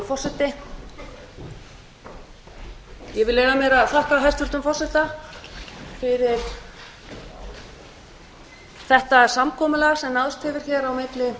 ég vil leyfa mér að þakka hæstvirtum forseta fyrir þetta samkomulag sem náðst hefur milli